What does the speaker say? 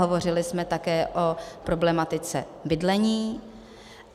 Hovořili jsme také o problematice bydlení.